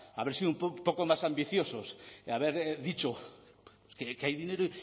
haber sido un poco más ambiciosos haber dicho que hay dinero